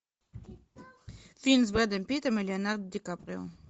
фильм с брэдом питтом и леонардо ди каприо